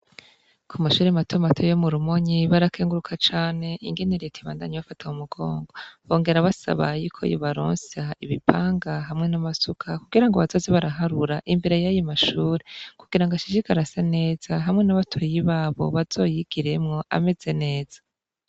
Ku mashure matomate yo murumonyi barakenguruka cane ingenereti ibandanye bafata mu mugongo bongera basaba yuko yibaronsa ibipanga hamwe n'amasuka kugira ngo basozi baraharura imbere y'ayi mashure kugira ngo ashishiga arasa neza hamwe n'abatoyi babo bazoyigiremwo ameze neza.